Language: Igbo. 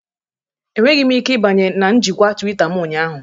Enweghị m ike ịbanye na njikwa Twitter m ụnyaahụ